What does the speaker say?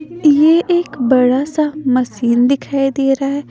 यह एक बड़ा सा मशीन दिखाई दे रहा है।